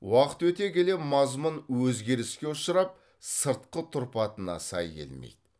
уақыт өте келе мазмұн өзгеріске ұшырап сыртқы тұрпатына сай келмейді